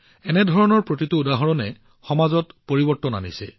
এনে প্ৰতিটো উদাহৰণ সমাজত পৰিৱৰ্তনৰ কাৰক হৈ পৰিছে